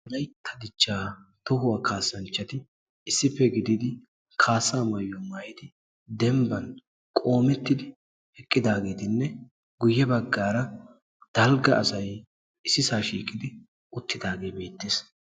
Wolaytta dichchaa tohuwa kaassanchchati issippe gididi kaassaa mayyuwaa maayidi dembban qoomettidi eqqidaageetinne guyye baggaara dalgga asay issisaa shiiqidi uttidaagee beettees.